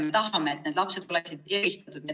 Me ei taha, et need lapsed oleksid eristatud.